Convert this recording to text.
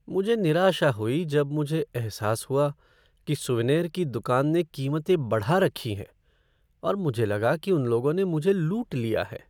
मुझे निराशा हुई जब मुझे एहसास हुआ कि सूवनेर की दुकान ने कीमतें बढ़ा रखी हैं, और मुझे लगा कि उन लोगों ने मुझे लूट लिया है।